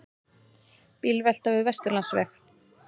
Bílvelta við Vesturlandsveg